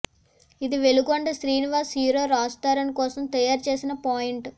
ఇది వెలిగొండ శ్రీనివాస్ హీరో రాజ్ తరుణ్ కోసం తయారు చేసిన పాయింట్